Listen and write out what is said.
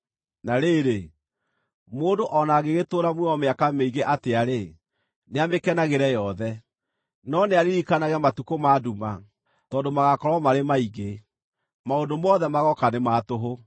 Na rĩrĩ, mũndũ o na angĩgĩtũũra muoyo mĩaka mĩingĩ atĩa-rĩ, nĩamĩkenagĩre yothe. No nĩaririkanage matukũ ma nduma, tondũ magaakorwo marĩ maingĩ. Maũndũ mothe magooka nĩ ma tũhũ.